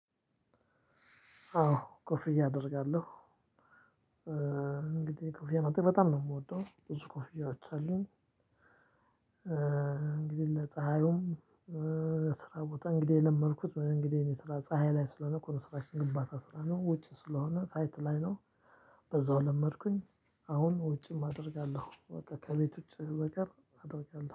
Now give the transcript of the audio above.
አዎ ኮፍያ አደርጋለሁ እንግዲህ ኮፍያ መጠቅም በጣም ነው የምወደው ብዙ ኮፍያዎች አሉኝ። እንግዲህ ለፀሀዩም ለስራ ቦታ እንግዲህ የለመድኩት እንግዲህ እኔ ስራ ፀሀይ ላይ ስለሆነ ኮንስትራክሽን ግንባታ ስላለው ውጪ ስለሆነ ሳይት ላይ ነው። በዛው ለመድኩኝ። አሁን ውጭም አደርጋለሁ በቃ ከቤቶች በቀር አደርጋለሁ